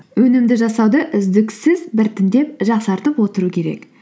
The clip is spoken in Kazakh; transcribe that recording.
өнімді жасауды үздіксіз біртіндеп жақсартып отыру керек